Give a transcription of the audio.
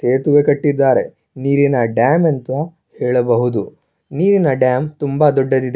ಸೇತುವೆ ಕಟ್ಟಿದ್ದಾರೆ ನೀರಿನ ಡ್ಯಾಮ್ ಅಂತು ಹೇಳಬಹುದು ನೀರಿನ ಡ್ಯಾಮ್ ತುಂಬಾ ದೊಡ್ಡದಿದೆ.